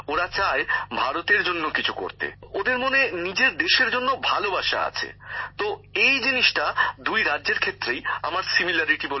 ওরা চায় ভারতের জন্য কিছু করতে ওদের মনে নিজের দেশের জন্য ভালোবাসা আছে তো এই জিনিসটা দুই রাজ্যের ক্ষেত্রেই আমার এক বলে মনে হয়েছে